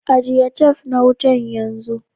Ajiye tef na wutan yanzu.